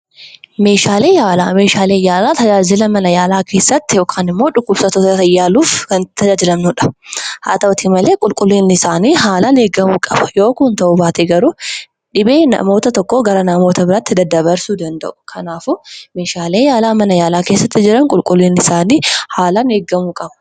Meeshaaleen yaalaa tajaajila yaalaa keessatti yookiin dhukkubsattoota yaaluuf kan tajaajiludha. haa ta'u malee qulqullinni isaanii haalaan eeggamuu qaba. Yoo kun ta'uu baate garuu dhibee nama tokko gara nama biraatti daddabarsuu danda'a. Kanaafuu meeshaaleen mana yaalaa keessatti argaman qulqullinni isaanii seeraan eeggamuu qaba.